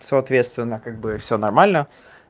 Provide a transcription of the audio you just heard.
соответственно как бы всё нормально